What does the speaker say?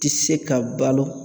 Ti se ka balo.